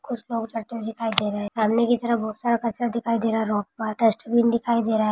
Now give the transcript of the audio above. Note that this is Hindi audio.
कुछ न कुछ सामने की तरफ़ बहुत सारा कचरा दिखाई दे रहा है। डस्टबिन दिखाई दे रहा है।